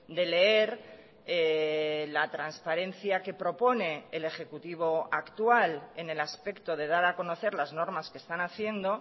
de leer la transparencia que propone el ejecutivo actual en el aspecto de dar a conocer las normas que están haciendo